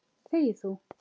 Þegi þú!